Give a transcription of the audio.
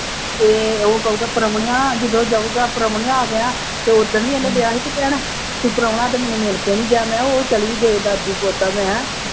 ਅਤੇ ਉਹ ਕਹੂਗਾ ਪ੍ਰਾਹੁਣਿਆਂ, ਜਦੋਂ ਜਾਊਗਾ ਪ੍ਰਾਹੁਣਿਆਂ, ਆ ਗਿਆ, ਅਤੇ ਉਹ ਦਿਨ ਵੀ ਇਹਨੂੰ ਡਿਆ ਸੀ ਕਹਿਣਾ, ਅਤੇ ਪ੍ਰਾਹੁਣਾ ਤਾਂ ਮੈਨੂੰ ਮਿਲਕੇ ਨਹੀਂ ਗਿਆ, ਮੈਂ ਕਿਹਾ ਉਹ ਚਲੀ ਵੀ ਦਾਦੀ ਪੋਤਾ ਮੈਂ